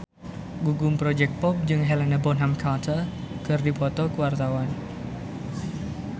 Gugum Project Pop jeung Helena Bonham Carter keur dipoto ku wartawan